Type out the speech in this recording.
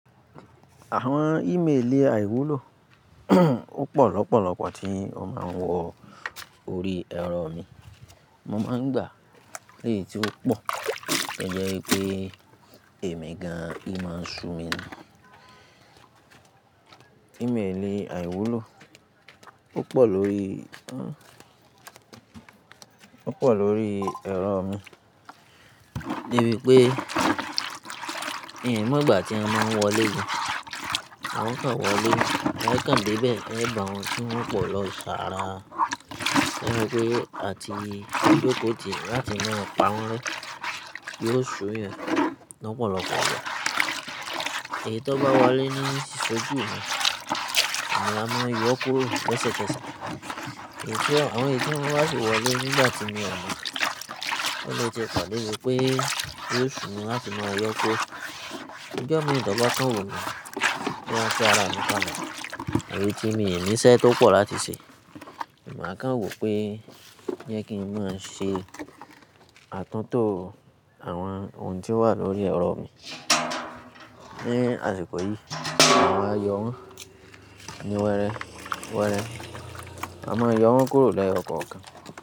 Àwọn ìméèli àìwúlò ó pọ̀ lọ́pọ̀lọpọ̀ tí wọ́n máa ń wọ orí ẹ̀rọ mi. Mo máa ń gbà léyi tí ó pọ̀, to jẹ́ pé èmi gan, ì mo ṣú mi. Ìméèli àìwúlò ó pọ̀ lórí ó pọ̀ lórí ẹ̀rọ mi, níbi pé ìhì ń mogbà tí an mo wọlé gan. Wọn kan wọlé, e kàn dé bẹ́ẹ̀, le ba wọ́n tí wọn pò lọ sára. Wọ́n wí pé àti no joko ti láti máa pa wọ́n ré. Yí ó ṣú'yan lọ́pọ̀lọpọ̀. Èyí tó bá wọlé ní ṣéjú mi, maa mo yọ kuro leṣekeṣe. Àwọn èyití wọ́n bá sì wọlé nígbà tí mio mo. O le tí po debi pé yí ó ṣú ni láti máa yọ kó. Ijo mii tó bàkán wu mi, mo maa fi àra mí kále. Àbí tí mi ní iṣẹ́ tó pọ̀ láti ṣe. Èmi máa kàn wò pé jẹ́ kí n máa ṣe àtúntò àwọn ohun tí ó wà lórí ẹ̀rọ mi. Lẹ́yìn àsìkò yìí, mà wa yọ̀ wọn ni wẹrẹ, wẹrẹ. Ma mo yọ wọ́n kúrò lẹ́yọ̀ kọ̀ọ̀kan.